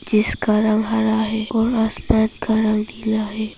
जिसका रंग हरा है और आसमान का रंग नीला है।